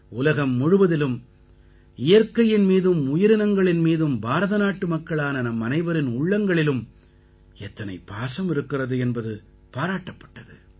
உலகம் முழுவதிலும் இயற்கையின் மீதும் உயிரினங்களின் மீதும் பாரத நாட்டு மக்களான நம்மனைவரின் உள்ளங்களிலும் எத்தனை பாசம் இருக்கிறது என்பது பாராட்டப்பட்டது